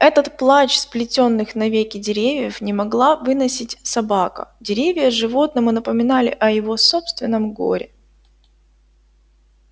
этот плач сплетённых навеки деревьев не могла выносить собака деревья животному напоминали о его собственном горе